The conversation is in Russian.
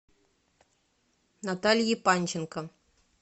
натальи панченко